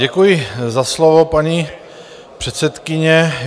Děkuji za slovo, paní předsedkyně.